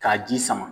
K'a ji sama